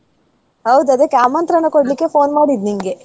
ಹೌದ್ ಆದಿಕ್ಕೆ ಆಮಂತ್ರಣ ಕೊಡ್ಲಿಕ್ಕೆ phone ಮಾಡಿದ್ ನಿಂಗೆ.